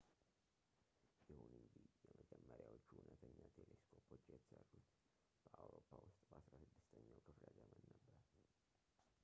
ይሁን እንጂ የመጀመሪያዎቹ እውነተኛ ቴሌስኮፖች የተሰሩት በአውሮፓ ውስጥ በ16ኛው ክፍለ ዘመን ነበር